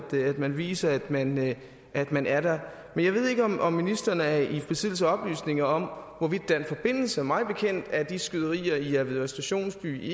man viser at man at man er der men jeg ved ikke om om ministeren er i besiddelse af oplysninger om hvorvidt der er en forbindelse mig bekendt er de skyderier i avedøre stationsby